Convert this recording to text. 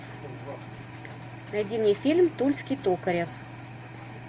найди мне фильм тульский токарев